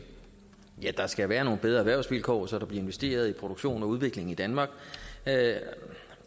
ja der skal være nogle bedre erhvervsvilkår så der bliver investeret i produktion og udvikling i danmark